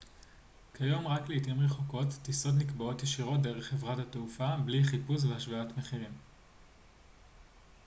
כיום רק לעתים רחוקות טיסות נקבעות ישירות דרך חברת התעופה בלי חיפוש והשוואת מחירים